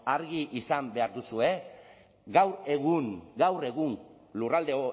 argi izan behar duzue gaur egun gaur egun lurralde